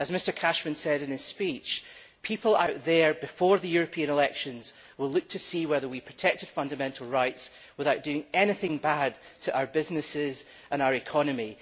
As Mr Cashman said in his speech, people out there, before the European elections, will look to see whether we protected fundamental rights without doing anything bad to our businesses and our economy.